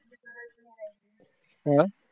अं